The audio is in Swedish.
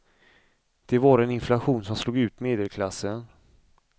Det var en inflation som slog ut medelklassen.